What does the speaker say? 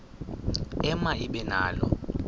ema ibe nalo